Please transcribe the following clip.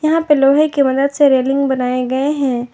यहां पे लोहे की मदद से रेलिंग बनाए गए हैं।